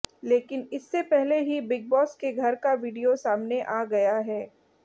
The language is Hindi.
लेकिन इससे पहले ही बिग बॉस के घर का वीडियो सामने आ गया है